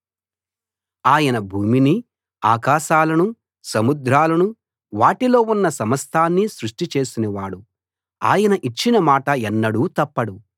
ఆయన భూమినీ ఆకాశాలనూ సముద్రాలనూ వాటిలో ఉన్న సమస్తాన్నీ సృష్టి చేసినవాడు ఆయన ఇచ్చిన మాట ఎన్నడూ తప్పడు